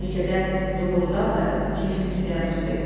Bəlkə də doğrudan da kefin istəyən usta idi.